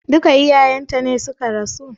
Duka iyayen ta ne suka rasu?